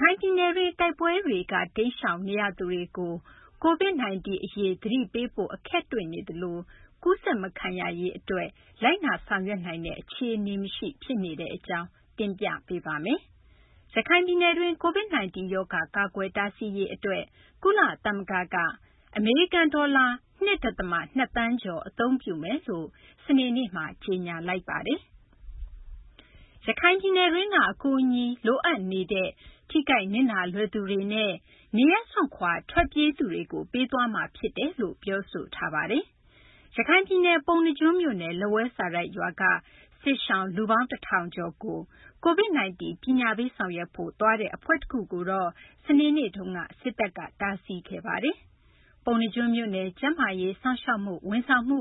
ခိုင်ပြည်နယ်တွင်း တိုက်ပွဲတွေက တိမ်းရှောင်သူတွေကို COVID-19 အရေး သတိပေးဖို့ အခက်တွေ့နေသလို ကူးစက်မခံရရေးအတွက် လိုက်နာ ဆောင်ရွက်နိုင်တဲ့ အခြေအနေမရှိ ဖြစ်နေပါတယ်။ အပြည့်အစုံကို မသိင်္ဂီထိုက် တင်ပြပေးထားပါတယ်။ ရခိုင်ပြည်နယ်တွင်း COVID-19 ရောဂါ ကာကွယ်တားဆီးရေးအတွက် ကုလသမဂ္ဂက အမေရိကန်ဒေါ်လာ ၂ ဒသမ ၂ သန်းကျော် အသုံးပြုမယ်လို့ စနေနေ့မှာ ကြေညာလိုက်ပါတယ်။ ရခိုင်ပြည်နယ်တွင်းက အကူအညီတွေ လိုအပ်နေတဲ့ ထိခိုက်နစ်နာလွယ်သူတွေနဲ့ နေရပ်စွန့်ခွာ ထွက်ပြေးသူတွေကို ပေးသွားမှာဖြစ်တယ်လို့ ပြောထားပါတယ်။ ရခိုင်ပြည်နယ် ပုဏ္ဏားကျွန်းမြို့နယ် လက်ဝဲစာတိုက်ရွာက စစ်ရှောင် လူပေါင်း ၁ ထောင်ကျော်ကို COVID-19 ပညာပေးဆောင်ရွက်ဖို့သွားတဲ့ အဖွဲ့တခုကိုတော့ စနေနေ့ကပဲ စစ်တပ်က တားဆီးခဲ့ပါတယ်။ ပုဏ္ဏားကျွန်းမြို့နယ်က ကျန်းမာရေး စောင့်ရှောက်မှု ဝန်ဆောင်မှု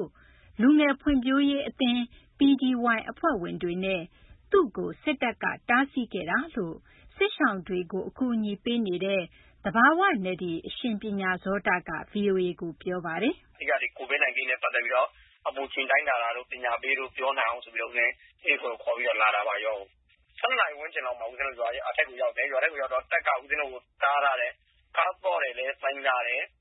လူငယ်ဖွံ့ဖြိုးရေးအသင်း အဖွဲ့ဝင်တွေနဲ့ သူ့ကို စစ်တပ်က တားဆီးခဲ့တာလို့ စစ်ရှောင်တွေကို အကူအညီပေးနေတဲ့ သဘာဝနဒီ အရှင် ပညာဇောတက ဗွီအိုအေကို ပြောပါတယ်။ "အဓိက COVID-19 နဲ့ ပတ်သက်ပြီးတော့ အပူချိန်တိုင်းတာတာတို့ ပညာပေးတာတွေ လုပ်နိုင်အောင် အဲဒီအဖွဲ့ကို ခေါ်ပြီး လာတာပါ ရွာကို။ ၁၂ နာရီလောက်မှာ ဦးဇင်းတို့ ရွာထဲကိုရောက်တော့ တပ်က ဦးဇင်းတို့ကို တားထားတယ်။ ဖုန်းတွေရော ကားသော့ရော သိမ်းလိုက်တယ်။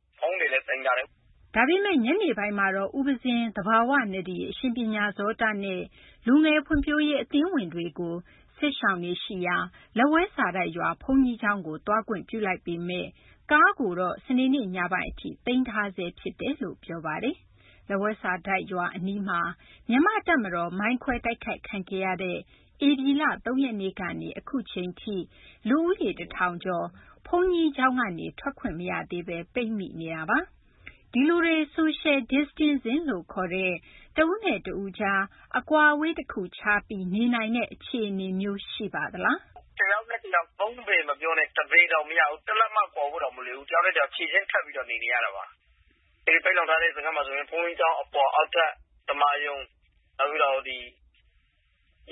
" ဒါပေမယ့် ညနေပိုင်းမှာတော့ ဦးပဉ္ဇင်း သဘာဝနဒီ အရှင် ပညာဇောတနဲ့ လူငယ်ဖွံ့ဖြိုးရေး အသင်းဝင်တွေကို စစ်ရှောင်တွေရှိရာ လက်ဝဲစာတိုက်ရွာ ဘုန်းကြီးကျောင်းကို သွားခွင့်ပြုလိုက်ပေမယ့် ကားကိုတော့ စနေနေ့ ညပိုင်းအထိ သိမ်းထားဆဲဖြစ်တယ်လို့ ပြောပါတယ်။ လက်ဝဲစာတိုက်ရွာအနီးမှာ မြန်မာ့တပ်မတော်ကို မိုင်းခွဲတိုက်ခိုက်ခံခဲ့ရတဲ့ ဧပြီလ ၃ ရက်နေ့ကနေ အခုအချိန်ထိ လူဦးရေ ၁၀၀၀ ကျော် ဘုန်းကြီးကျောင်းကနေ ထွက်ခွင့်မရသေးဘဲ ပိတ်မိနေပါတယ်။ ဒီလူတွေ Social Distancing လို့ခေါ်တဲ့ တဦးနဲ့တဦးကြား အကွာအဝေးတခုခြားပြီး နေနိုင်တဲ့ အခြေအနေမျိုး ရှိပါသလား။ "တယောက်နဲ့တယောက် ၃ ပေမပြောနဲ့၊ ၁ ပေတောင်မရဘူး။ တလက်မကွာဖို့တောင် မလွယ်ဘူး။ တယောက်နဲ့တယောက် ခြေချင်းထပ်ပြီးတော့ နေနေရတာပါ။ အခု ပိတ်လှောင်ထားတဲ့ စခန်းမှာဆိုရင် ဘုန်းကြီးကျောင်းအပေါ်၊ အောက်ထပ် ဓမ္မာရုံ၊ နောက်ပြီး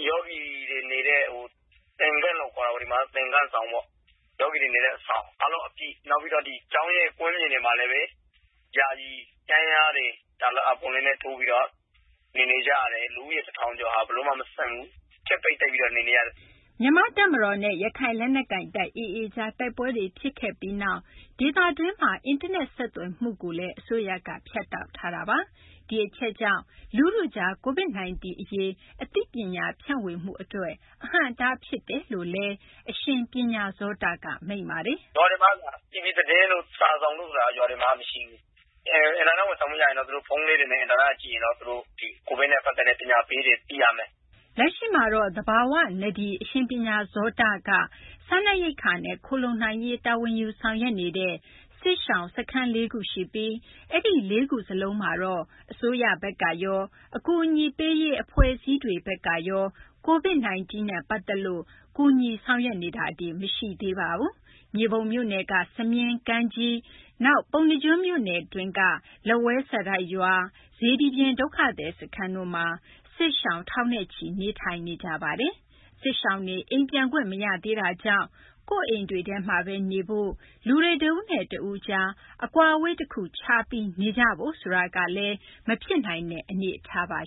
ယောဂီတွေနေတဲ့ သင်္ဃန်းဆောင်ပေါ့ အားလုံး အပြည့်၊ နောက်ပြီး ကျောင်းရဲ့ ကွင်းပြင်တွေမှာလည်း ယာယီတန်းလျားတွေ တာလပတ်တွေနဲ့ ထိုးပြီးတော့ နေနေကြရတယ်။ လူဦးရေတထောင်ကျော် ဘယ်လိုမှမဆန့်ဘူး။" မြန်မာ့တပ်မတော်နဲ့ ရခိုင်လက်နက်ကိုင်တပ် AA ကြား တိုက်ပွဲတွေ ဖြစ်ခဲ့ပြီးနောက် ဒေသတွင်းမှာ အင်တာနက် ဆက်သွယ်မှုကိုလည်း အစိုးရက ဖြတ်တောက်ထားတာပါ။ ဒီအချက်က လူထုကြား COVID-19 အရေး အသိပညာ ဖြန့်ဝေမှုအတွက်လည်း အဟန့်အတားဖြစ်တယ်လို့ အရှင် ပညာဇောတက မိန့်ပါတယ်။ "ရွာတွေမှာက တီဗွီသတင်းတို့ စာစောင်တို့ဆိုတာ ရွာတွေမှာ မရှိဘူး။ အင်တာနက် ဝန်ဆောင်မှု ရရင်တော့ ဖုန်းလေးတွေနဲ့ အင်တာနက်က ကြည့်ရင်တော့ COVID နဲ့ ပတ်သက်တဲ့ ပညာပေးတွေ သိရမယ်။" လက်ရှိမှာတော့ သဘာဝနဒီ အရှင် ပညာဇောတက စားနပ်ရိက္ခာနဲ့ ခိုလှုံနိုင်ရေး တာဝန်ယူဆောင်ရွက်နေတဲ့ စစ်ရှောင်စခန်း ၄ ခုရှိပြီး အဲဒီ ၄ ခုလုံးမှာတော့ အစိုးရဘက်ကရော အကူအညီပေးရေး အဖွဲ့အစည်းတွေဘက်ကရော COVID-19 နဲ့ ပတ်သက်လို့ ကူညီဆောင်ရွက်နေတာတွေ မရှိသေးဘူးလို့ ပြောပါတယ်။ မြေပုံမြို့နယ်က စမြင်း၊ ကမ်းကြီး၊ နောက် ပုဏ္ဏာကျွန်းမြို့နယ်က လက်ဝဲစာတိုက်ရွာ၊ စေတီပြင် ဒုက္ခသည်စခန်းတို့မှာ စစ်ရှောင် ထောင်နဲ့ချီ နေထိုင်နေရပါတယ်။ စစ်ရှောင်တွေ အိမ်ပြန်ခွင့်မရသေးတာကြောင့် ကိုယ့်အိမ်တွေထဲမှာပဲ နေဖို့၊ လူတွေ တဦးနဲ့တဦး အကွာအဝေးတခုခြားပြီး ခပ်ခွာခွာနေကြဖို့ဆိုတာလည်း မဖြစ်နိုင်တဲ့ အနေအထားပါ